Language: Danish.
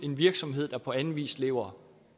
en virksomhed der på anden vis lever